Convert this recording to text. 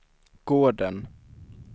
gården